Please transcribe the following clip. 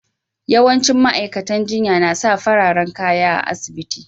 Yawancin ma'aikatan jinya na sa fararen kaya a'asibiti.